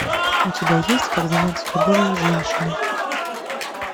у тебя есть как заняться любовью с женщиной